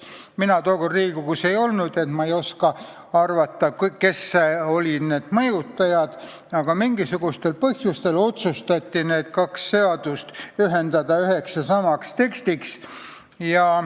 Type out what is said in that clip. Mina tookord Riigikogus ei olnud, ma ei oska arvata, kes olid mõjutajad, aga mingisugustel põhjustel otsustati need kaks seadust ühendada üheks tekstiks.